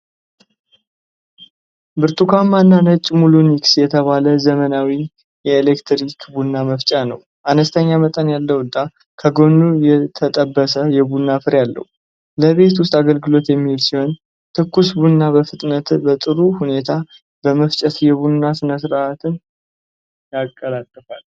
ብርቱካናማና ነጭ ሙሊኒክስ የተሰኘ ዘመናዊ የኤሌክትሪክ ቡና መፍጫ ነው። አነስተኛ መጠን ያለውና ከጎኑ የተጠበሰ የቡና ፍሬ አለው። ለቤት ውስጥ አገልግሎት የሚውል ሲሆን፤ ትኩስ ቡናን በፍጥነትና በጥሩ ሁኔታ በመፍጨት የቡና ሥነ ሥርዓትን ያቀላጥፋል።